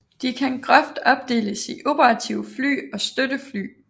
De kan groft opdeles i operative fly og støttefly